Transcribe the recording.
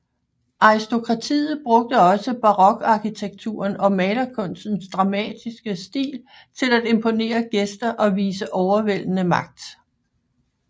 Aristokratiet brugte også barokarkitekturen og malerkunstens dramatiske stil til at imponere gæster og vise overvældende magt